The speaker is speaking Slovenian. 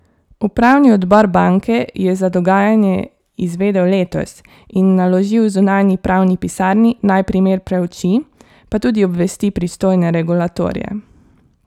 Upravni odbor banke je za dogajanje izvedel letos in naložil zunanji pravni pisarni, naj primer preuči, pa tudi obvesti pristojne regulatorje.